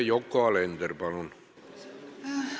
Yoko Alender, palun!